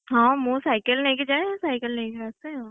ହଁ ମୁଁ cycle ନେଇକି ଯାଏ cycle ନେଇକି ଆସେ ଆଉ।